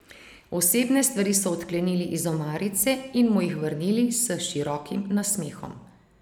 Osebne stvari so odklenili iz omarice in mu jih vrnili s širokim nasmehom.